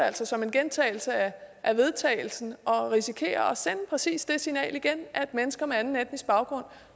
altså som en gentagelse af vedtagelse og risikerer at sende præcis det signal igen at mennesker med anden etnisk baggrund